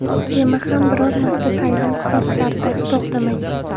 Kema ham biror marta Tailand portlarida to‘xtamagan.